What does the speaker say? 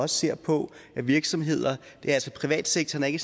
ser på virksomheder altså privatsektoren er ikke